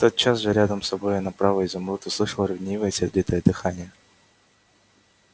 тотчас же рядом с собою направо изумруд услышал ревнивое сердитое дыхание